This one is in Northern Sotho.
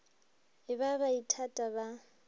e ba ba ithata ba